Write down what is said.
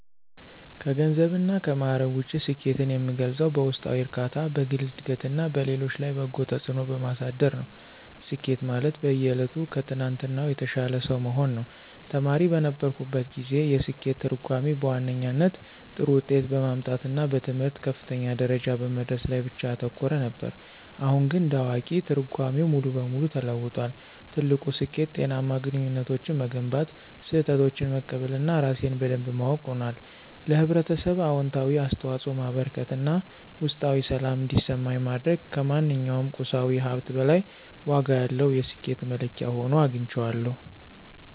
ከገንዘብና ከማዕረግ ውጪ፣ ስኬትን የምገልጸው በውስጣዊ እርካታ፣ በግል ዕድገትና በሌሎች ላይ በጎ ተጽዕኖ በማሳደር ነው። ስኬት ማለት በየዕለቱ ከትናንትናው የተሻለ ሰው መሆን ነው። ተማሪ በነበርኩበት ጊዜ፣ የስኬት ትርጉሜ በዋነኛነት ጥሩ ውጤት በማምጣትና በትምህርት ከፍተኛ ደረጃ በመድረስ ላይ ብቻ ያተኮረ ነበር። አሁን ግን እንደ አዋቂ፣ ትርጓሜው ሙሉ በሙሉ ተለውጧል። ትልቁ ስኬት ጤናማ ግንኙነቶችን መገንባት፣ ስህተቶችን መቀበል እና ራሴን በደንብ ማወቅ ሆኗል። ለኅብረተሰብ አዎንታዊ አስተዋጽኦ ማበርከት እና ውስጣዊ ሰላም እንዲሰማኝ ማድረግ ከማንኛውም ቁሳዊ ሀብት በላይ ዋጋ ያለው የስኬት መለኪያ ሆኖ አግኝቼዋለሁ።